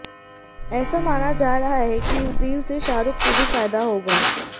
ऐसा माना जा रहा है कि इस डील से शाहरुख को भी फायदा होगा